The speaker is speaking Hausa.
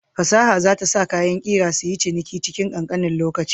Fasaha za ta sa kayan ƙera suyi ciniki cikin ƙanƙanin lokaci.